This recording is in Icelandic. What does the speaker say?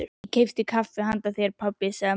Ég keypti kaffi handa þér, pabbi, sagði María.